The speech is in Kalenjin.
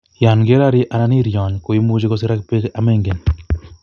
Yon kerori anan iryony koimuche koserak bek yon mengen